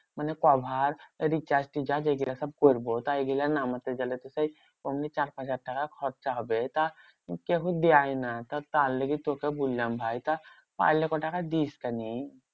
মানে cover এই recharge ফিচার্জ এইগুলো সব করবো। তাই এগুলো নামাতে গেলে তো সেই অমনি চার পাঁচ হাজার টাকা খরচা হবে। তা কেহ দেয় না। তার লাগে তোকে বললাম ভাই। তা পারলে ক টাকা দিস তা নি?